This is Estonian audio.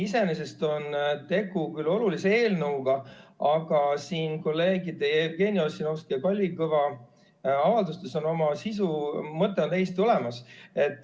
Iseenesest on tegu küll olulise eelnõuga, aga kolleegide Jevgeni Ossinovski ja Kalvi Kõva avaldustes on sisu ja mõte täiesti olemas.